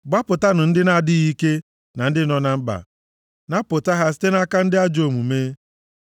Gbapụtanụ ndị na-adịghị ike na ndị nọ na mkpa; napụta ha site nʼaka ndị ajọ omume.